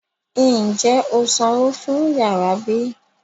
Ń jẹ́ ó sanwó fún yàrá bí?